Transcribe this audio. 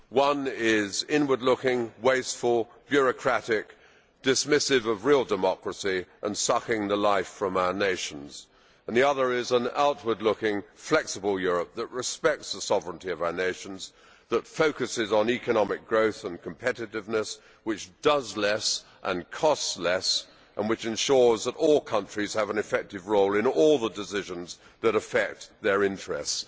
One is inward looking wasteful, bureaucratic, dismissive of real democracy and sucking the life from our nations and the other is an outward looking, flexible Europe that respects the sovereignty of our nations and that focuses on economic growth and competitiveness, and which does less, costs less and ensures that all countries have an effective role in all the decisions that affect their interests.